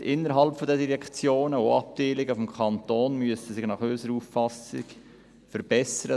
Die Zusammenarbeit innerhalb der Direktionen und Abteilungen des Kantons muss sich unserer Auffassung nach verbessern;